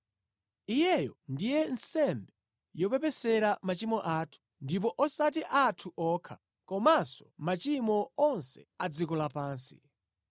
Iyeyo ndiye nsembe yopepesera machimo athu, ndipo osati athu okha, komanso machimo onse a dziko lapansi.